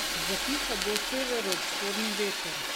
Zapihal bo severovzhodni veter.